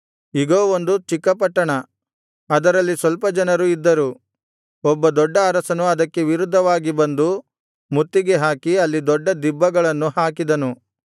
ಇಗೋ ಒಂದು ಚಿಕ್ಕ ಪಟ್ಟಣ ಅದರಲ್ಲಿ ಸ್ವಲ್ಪ ಜನರು ಇದ್ದರು ಒಬ್ಬ ದೊಡ್ಡ ಅರಸನು ಅದಕ್ಕೆ ವಿರುದ್ಧವಾಗಿ ಬಂದು ಮುತ್ತಿಗೆ ಹಾಕಿ ಅಲ್ಲಿ ದೊಡ್ಡ ದಿಬ್ಬಗಳನ್ನು ಹಾಕಿದನು